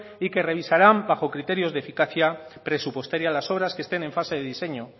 y que revisarán bajo criterios de eficacia presupuestaria las obras que estén en fase de diseño